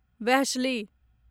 वेहश्ली